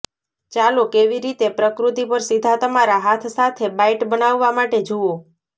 ચાલો કેવી રીતે પ્રકૃતિ પર સીધા તમારા હાથ સાથે બાઈટ બનાવવા માટે જુઓ